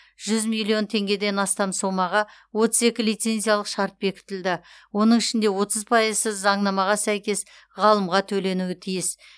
жүз миллион теңгеден астам сомаға отыз екі лицензиялық шарт бекітілді оның ішінде отыз пайызы заңнамаға сәйкес ғалымға төленуі тиіс